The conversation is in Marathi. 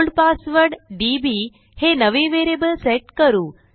ओल्ड पासवर्ड डीबी हे नवे व्हेरिएबल सेट करू